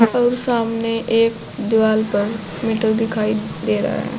और सामने एक दीवाल पर मीटर दिखाई दे रहा है।